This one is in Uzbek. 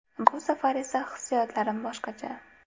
Bu safar esa hissiyotlarim boshqacha.